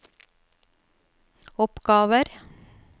oppgaver